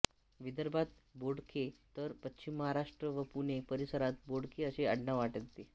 विदर्भात बोडखे तर पश्चिम महाराष्ट्र व पुणे परिसरात बोडके असे आडनाव आढळते